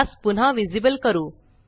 त्यास पुन्हा विसीबल करू